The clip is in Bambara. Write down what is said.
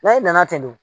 e nana ten